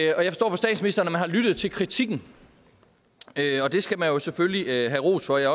man har lyttet til kritikken og det skal man jo selvfølgelig have ros for og jeg